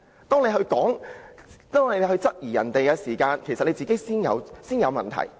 "當他質疑別人時，他其實自己先有問題。